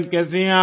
कैसी हैं आप